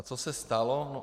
A co se stalo?